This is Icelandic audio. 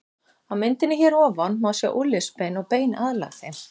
Á myndinni hér að ofan má sjá úlnliðsbein og bein aðlæg þeim.